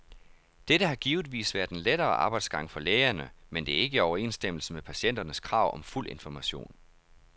Dette har givetvis været en lettere arbejdsgang for lægerne, men det er ikke i overensstemmelse med patienternes krav om fuld information.